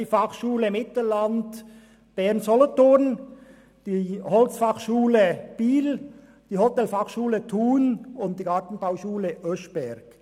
Die Fachschule Mittelland-Bern-Solothurn, die HF Holz in Biel, die Hotelfachschule Thun und die Gartenbauschule Oeschberg.